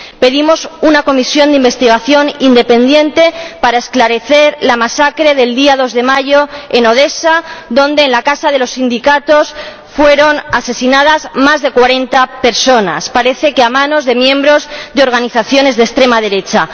Pedimos una comisión de investigación independiente para esclarecer la masacre del día 2 de mayo en Odesa, donde en la Casa de los Sindicatos fueron asesinadas más de 40 personas, parece que a manos de miembros de organizaciones de extrema derecha.